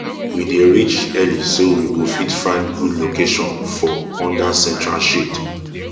we dey reach early so we go fit find good location for under central shade